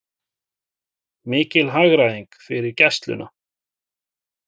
Mikil hagræðing fyrir Gæsluna